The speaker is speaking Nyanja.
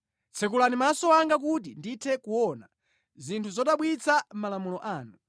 Tsekulani maso anga kuti ndithe kuona zinthu zodabwitsa mʼmalamulo anu.